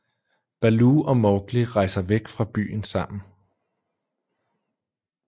Baloo og Mowgli rejser væk fra byen sammen